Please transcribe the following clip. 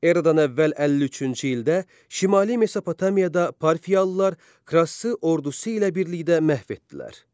Eradan əvvəl 53-cü ildə şimali Mesopotamiyada Parfiyalılar Krassı ordusu ilə birlikdə məhv etdilər.